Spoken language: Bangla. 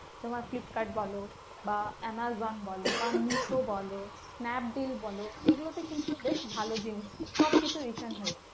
তোমার ফ্লিপকার্ড বলো বা আমাজন বলো বা মিশো বলো, স্ন্যাপডিল বলো এগুলোতে কিন্তু বেশ ভালো জিনিস সবকিছু return হয়ে যায়।